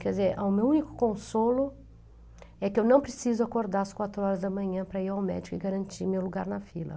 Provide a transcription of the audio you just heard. Quer dizer, ah, o meu único consolo é que eu não preciso acordar às quatro horas da manhã para ir ao médico e garantir meu lugar na fila.